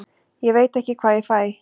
Ég veit ekki hvað ég fæ.